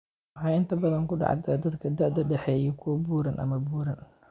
Waxay inta badan ku dhacdaa dadka da'da dhexe ah iyo kuwa buuran ama buuran.